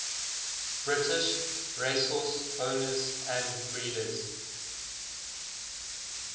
british racehorse owners and breeders